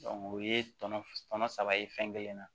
o ye tɔnɔ tɔnɔ saba ye fɛn kelen na